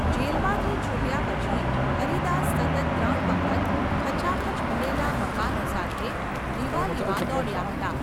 જેલમાંથી છૂટ્યા પછી હરિદાસ સતત ત્રણ વખત ખચાખચ ભરેલા મકાનો સાથે દિવાલીમાં દોડ્યા હતા.